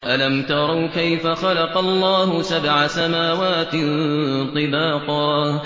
أَلَمْ تَرَوْا كَيْفَ خَلَقَ اللَّهُ سَبْعَ سَمَاوَاتٍ طِبَاقًا